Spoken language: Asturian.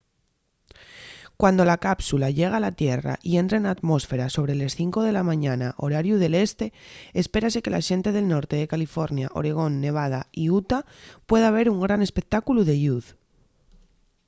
cuando la cápsula llegue a la tierra y entre na atmósfera sobre les 5 de la mañana horariu del este espérase que la xente del norte de california oregón nevada y utah pueda ver un gran espectáculu de lluz